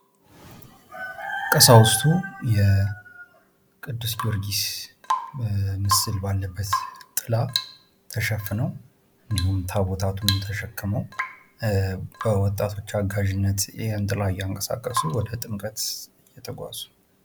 ቀሳውስቱ የቅዱስ ጊዮርጊስ ምስል ባለበት ጥላ ተሸፍኖ እንዲሁም ታቦታቱን ተሸክሞ በወጣቶች አጋዥነት ይህን ጥላ እያንቀሳቀሱ ወደ ጥምቀት እየተጓዙ ነው።